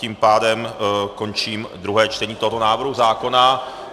Tím pádem končím druhé čtení tohoto návrhu zákona.